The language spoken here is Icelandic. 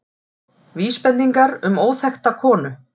Vísbendingar um óþekkta konu